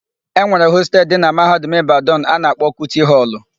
E nwere hostelu dị na Mahadum Ịbadanụ a na-akpọ Kuti họlụ.